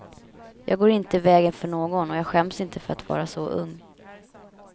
Jag går inte i vägen för någon och jag skäms inte för att vara så ung.